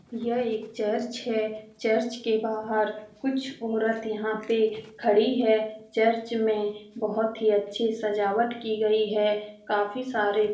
यह एक चर्च है। चर्च के बाहर कुछ औरत यहाँ पे खड़ी है। चर्च में बहुत ही अच्छी सजावट की गयी है। काफी सारे --